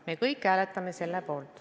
Me kõik hääletame seda.